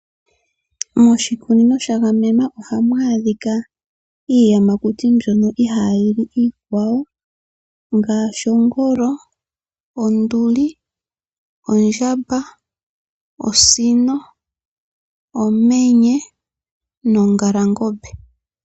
Moshikunino shagamenwa ohamu adhika iiyamakuti mbyono ihaa yili ikwawo. Ngaashi ongolo, onduli, ondjamba, osino, omenye nongalangombe.